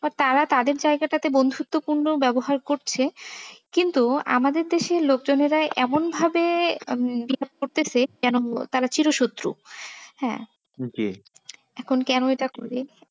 তারা তাদের জায়গাটাতে বন্ধুত্বপূর্ণ ব্যবহার করছে কিন্তু আমাদের দেশে লোক জনেরা এমন ভাবে উম করতে সে যেমন তারা চির শত্রু হ্যাঁ জি এখন কেন এটা করে